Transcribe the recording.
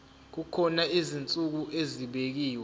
kukhona izinsuku ezibekiwe